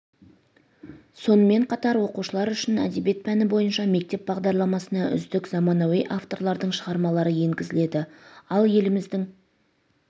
сонымен қатар оқушылар үшін әдебиет пәні бойынша мектеп бағдарламасына үздік заманауи авторлардың шығармалары енгізіледі ал еліміздің